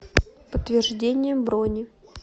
подтверждение брони